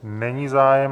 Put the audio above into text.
Není zájem.